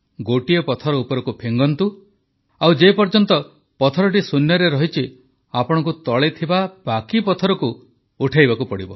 ଗୋଟିଏ ପଥର ଉପରକୁ ଫିଙ୍ଗନ୍ତୁ ଆଉ ଯେପର୍ଯ୍ୟନ୍ତ ପଥରଟି ଶୂନ୍ୟରେ ରହିଛି ଆପଣଙ୍କୁ ତଳେ ଥିବା ବାକି ପଥରକୁ ଉଠାଇବାକୁ ପଡ଼ିବ